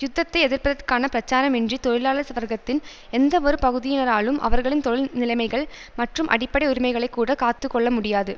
யுத்தத்தை எதிர்ப்பதற்கான பிரச்சாரம் இன்றி தொழிலாளர் சவர்க்கத்தின் எந்தவொரு பகுதியினராலும் அவர்களின் தொழில் நிலைமைகள் மற்றும் அடிப்படை உரிமைகளை கூட காத்து கொள்ள முடியாது